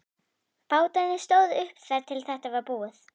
Bátarnir stóðu uppi þar til þetta var búið.